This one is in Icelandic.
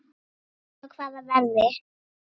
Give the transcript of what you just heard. Og á hvaða verði?